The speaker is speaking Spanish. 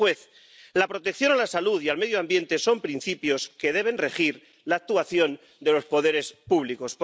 Y sigue el juez La protección a la salud y al medio ambiente son principios que deben regir la actuación de los poderes públicos.